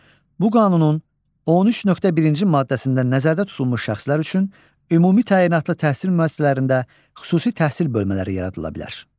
Bu qanunun 13.1-ci maddəsində nəzərdə tutulmuş şəxslər üçün ümumi təyinatlı təhsil müəssisələrində xüsusi təhsil bölmələri yaradıla bilər.